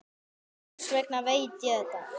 Þess vegna veit ég þetta.